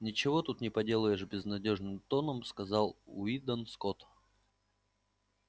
ничего тут не поделаешь безнадёжным тоном сказал уидон скотт